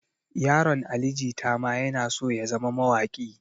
Yaron ali jita ma yana so ya zama mawaƙi